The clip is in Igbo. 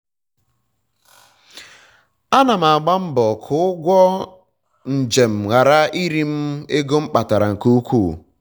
ana m agba mbọ ka ụgwọ njem ghara iri m ego m kpatara nke ukwu